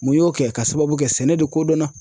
Mun y'o kɛ ka sababu kɛ sɛnɛ de kodɔnna.